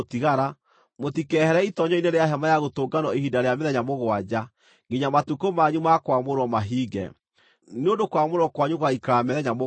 Mũtikehere itoonyero-inĩ rĩa Hema-ya-Gũtũnganwo ihinda rĩa mĩthenya mũgwanja, nginya matukũ manyu ma kwamũrwo mahinge, nĩ ũndũ kwamũrwo kwanyu gũgaikara mĩthenya mũgwanja.